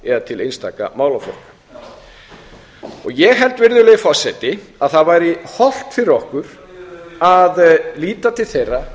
eða til einstakra málaflokka ég held virðulegi forseti að það væri hollt fyrir okkur að líta til þeirra